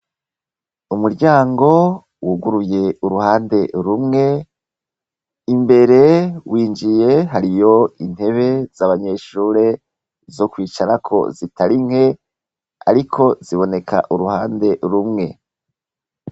Umuryango, wuguruye uruhande rumwe, imbere winjiye hariyo intebe z’abanyeshure zo kwicarako zitarinke, ariko ziboneka uruhande rumwe.